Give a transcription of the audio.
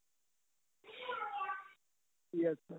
yes sir